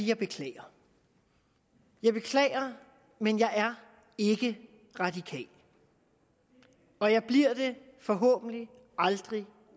jeg beklager jeg beklager men jeg er ikke radikal og jeg bliver det forhåbentlig aldrig